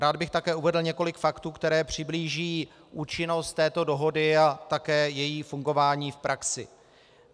Rád bych také uvedl několik faktů, které přiblíží účinnost této dohody a také její fungování v praxi.